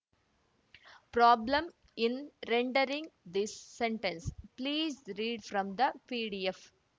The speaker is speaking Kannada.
problem in rendering this sentence please read from the PDF